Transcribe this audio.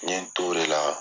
N ɲe to de la